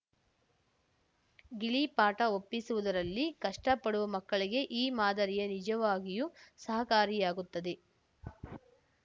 ಗಿಳಿಪಾಠ ಒಪ್ಪಿಸುವುದರಲ್ಲಿ ಕಷ್ಟಪಡುವ ಮಕ್ಕಳಿಗೆ ಈ ಮಾದರಿಯು ನಿಜವಾಗಿಯೂ ಸಹಕಾರಿಯಾಗುತ್ತದೆ